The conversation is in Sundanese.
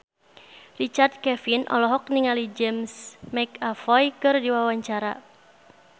Richard Kevin olohok ningali James McAvoy keur diwawancara